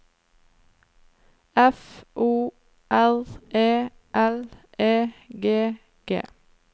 F O R E L E G G